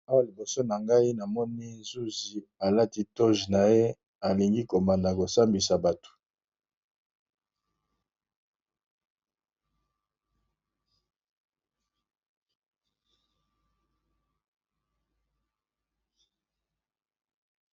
Awa liboso na ngai na moni zuzi alati toje na ye alingi kobanda kosambisa bato.